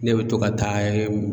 Ne bɛ to ka taa